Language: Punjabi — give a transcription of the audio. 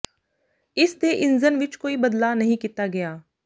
ਇਸ ਦੇ ਇੰਜ਼ਨ ਵਿੱਚ ਕੋਈ ਬਦਲਾਅ ਨਹੀਂ ਕੀਤਾ ਗਿਆ